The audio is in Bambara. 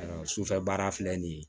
Ayiwa sufɛ baara filɛ nin ye